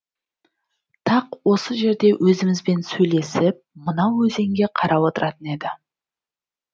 тақ осы жерде өзімізбен сөйлесіп мынау өзенге қарап отыратын еді